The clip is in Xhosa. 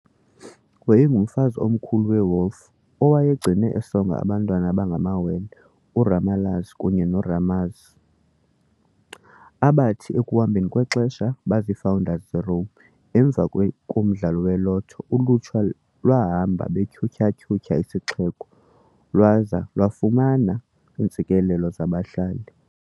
Wayengumfazi Omkhulu we-Wolf owayegcine esonga abantwana ababengamawele, u-Romulus kunye no-Remus, abathi ekuhambeni kwexesha babaziifounders zeRome. Emva komdlalo we-lotho, ulutsha lwahamba betyhutyha-tyhutyha isixeko lwaza lwafumana iintsikelelo zabahlali.